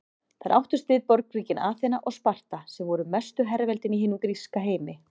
Þar áttust við borgríkin Aþena og Sparta sem voru mestu herveldin í hinum gríska heimi.